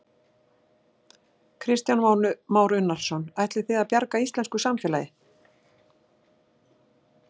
Kristján Már Unnarsson: Ætlið þið að bjarga íslensku samfélagi?